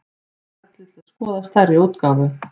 Smellið til að skoða stærri útgáfu